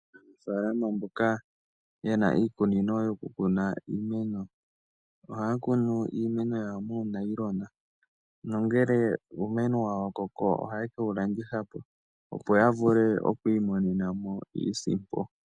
Aanafaalama mboka yena iikunino yoku kuna iimeno, ohaya kunu iimeno yawo muunayilona, nongele uumeno wawo wa koko, ohaye kewu landithapo opo ya vule oku imonena mo iisimpo.